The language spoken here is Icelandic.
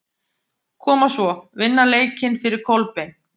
Koma svo, vinna leikinn fyrir Kolbein!